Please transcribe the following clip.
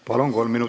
Palun!